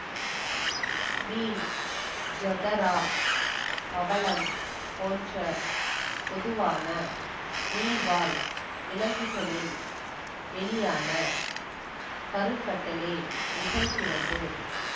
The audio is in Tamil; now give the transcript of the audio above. மீன் ஐதரா பவளம் போன்ற பொதுவான நீர்வாழ் விலங்குகளில் வெளியான கருக்கட்டலே நிகழ்கிறது